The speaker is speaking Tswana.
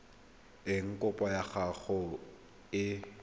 eng kopo ya gago e